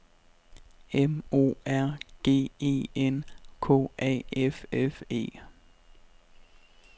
M O R G E N K A F F E